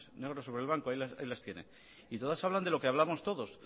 negro sobre blanco ahí las tiene y todas hablan de lo que hablamos todos